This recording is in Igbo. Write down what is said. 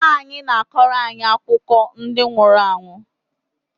Nnaanyị na-akọrọ anyị akụkọ ndi nwuru anwụ